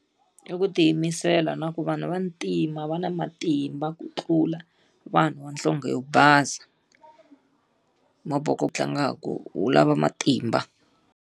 I ku tiyimisela na ku vanhu vantima va na matimba ku tlula vanhu va nhlonge yo basa. wu tlangaka wu lava matimba.